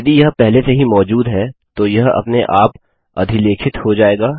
यदि यह पहले से ही मौजूद है तो यह अपने आप अधिलेखित हो जायेगा